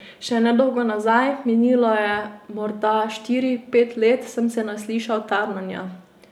Še nedolgo nazaj, minilo je morda štiri, pet let, sem se naslišal tarnanja.